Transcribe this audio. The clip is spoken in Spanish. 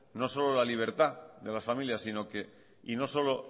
no solo la libertad de las familias y no solo